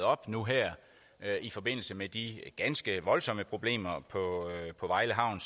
op nu her i forbindelse med de ganske voldsomme problemer på vejle havn